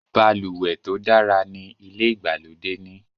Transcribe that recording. balùwẹ̀ tó dára ní ilè ìgbàlódé ní.